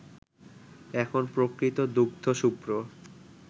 এখন প্রকৃত দুগ্ধশুভ্র